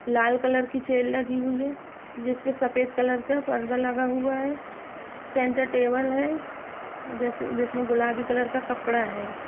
लाल colour की chair लगी हुई है जिस पे सफेद कलर का पर्दा लगा हुआ है सेंटर टेबल है जिसमें गुलाबी कलर का कपड़ा है।